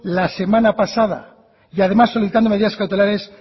la semana pasada y además solicitando medidas cautelares